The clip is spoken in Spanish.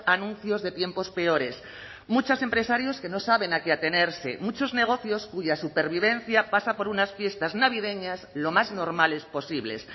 anuncios de tiempos peores muchos empresarios que no saben a qué atenerse muchos negocios cuya supervivencia pasa por unas fiestas navideñas lo más normales posibles